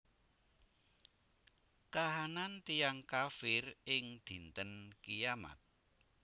Kahanan tiyang kafir ing Dinten Kiamat